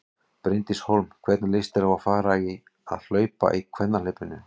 Bryndís Hólm: Hvernig líst þér á að fara að hlaupa í kvennahlaupinu?